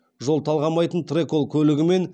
жол талғамайтын трэкол көлігімен